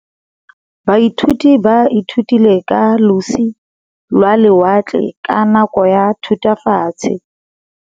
Baithuti ba ithutile ka losi lwa lewatle ka nako ya Thutafatshe.